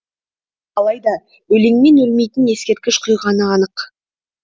алайда өлеңмен өлмейтін ескерткіш құйғаны анық